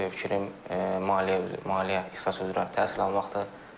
Növbəti fikrim maliyyə maliyyə ixtisası üzrə təhsil almaqdır.